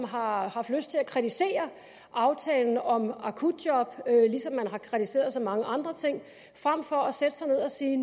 har haft lyst til at kritisere aftalen om akutjob ligesom man har kritiseret så mange andre ting frem for at sætte sig ned og sige